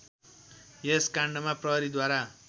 यस काण्डमा प्रहरीद्वारा